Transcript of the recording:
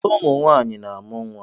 Ụmụ nwaanyị na-amụ nwa.